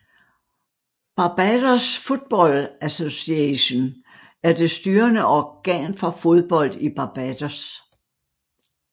Barbados Football Association er det styrende organ for fodbold i Barbados